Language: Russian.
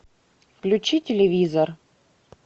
включи телевизор